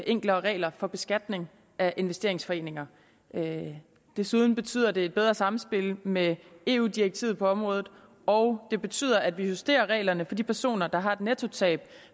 enklere regler for beskatning af investeringsforeninger desuden betyder det et bedre samspil med eu direktivet på området og det betyder at vi justerer reglerne for de personer der har et nettotab